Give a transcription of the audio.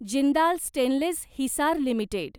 Jindal stainless Hisar limited